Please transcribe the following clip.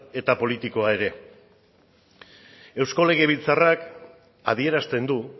eta politikoa ere eusko legebiltzarrak adierazten du